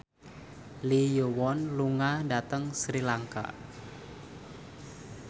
Lee Yo Won lunga dhateng Sri Lanka